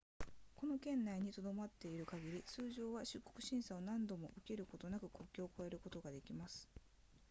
この圏内に留まっている限り通常は出国審査を何度も受けることなく国境を越えることができます